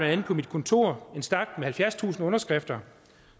andet på mit kontor en stak med halvfjerdstusind underskrifter